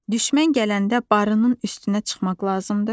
Düşmən gələndə barının üstünə çıxmaq lazımdır.